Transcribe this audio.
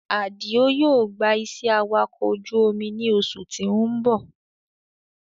Àdìó yóò gbà iṣẹ́ awakọ̀ ojú omi ní oṣù tí ó ń bọ̀